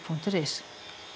punktur is